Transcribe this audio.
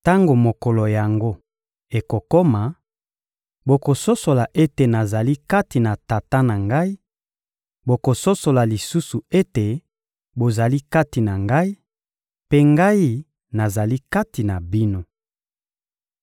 Tango mokolo yango ekokoma, bokososola ete nazali kati na Tata na ngai; bokososola lisusu ete bozali kati na Ngai, mpe Ngai nazali kati na bino.